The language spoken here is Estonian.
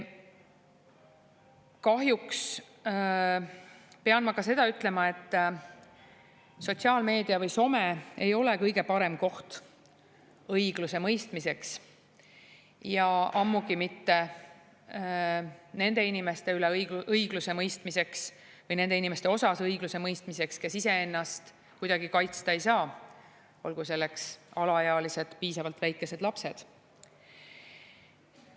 Kahjuks pean ma ka seda ütlema, et sotsiaalmeedia ehk some ei ole kõige parem koht õigusemõistmiseks ja ammugi mitte õigluse nende inimeste puhul, kes iseennast kuidagi kaitsta ei saa, olgu selleks alaealised, piisavalt väikesed lapsed.